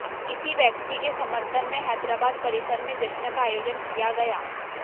इसी व्यक्ति के समर्थन में हैदराबाद परिसर में जश्न का आयोजन किया गया